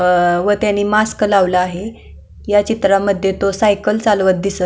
व त्यानी मास्क घातलेला आहे ह्या चित्रामध्ये तो सायकल चालवत आहे.